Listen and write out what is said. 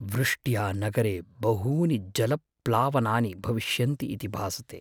वृष्ट्या नगरे बहूनि जलप्लावनानि भविष्यन्ति इति भासते।